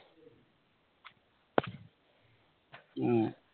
ഉം